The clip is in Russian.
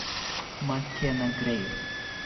маккенна грейс